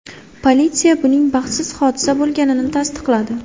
Politsiya buning baxtsiz hodisa bo‘lganini tasdiqladi.